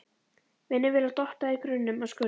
Vinnuvélar dotta í grunnum og skurðum.